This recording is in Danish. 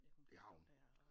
Det har hun